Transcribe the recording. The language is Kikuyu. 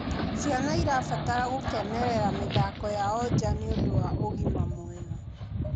Ciana irabatara gukenerera mithako yao njaa nĩũndũ wa ũgima mwega